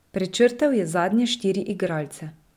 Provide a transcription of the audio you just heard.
Prečrtal je zadnje štiri igralce.